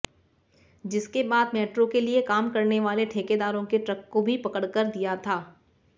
जिसके बाद मेट्रो के लिए काम करनेवाले ठेकेदारों के ट्रक को भी पकड़कर दिया था